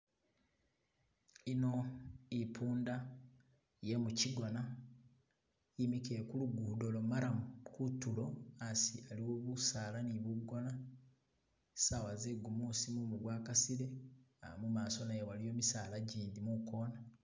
Ino ipunda ye'mukigona yimikile ku lugudo lwo marrum kutulo asi aliwo bunyasi ni bugona saawa ze'gumusi mumu gwa kasile uh mumaso nayo waliyo misaala gindi mukoona.